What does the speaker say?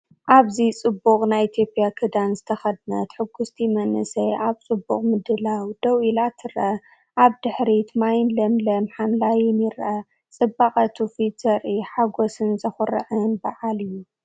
ኣብዚ ጽቡቕ ናይ ኢትዮጵያ ክዳን ዝተኸድነት ሕጉስቲ መንእሰይ ኣብ ጽቡቕ ምድላው ደው ኢላ ትርአ። ኣብ ድሕሪት ማይን ለምለም ሓምላይን ይርአ። ጽባቐ ትውፊት ዘርኢ ሓጎስን ዘኹርዕን በዓል እዩ።